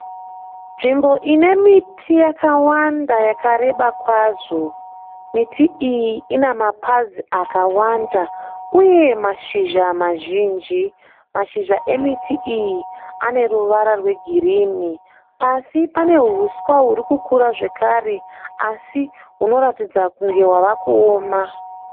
Nzvimbo ine miti yakawanda yakareba kwazvo. Miti iyi ine mapazi akawanda uye mashizha mazhinji. Mashizha emiti iyi ane ruvara rwegirini. Pasi pane huswa huri kukura zvakare, asi hunoratidza kunge hwava kuoma.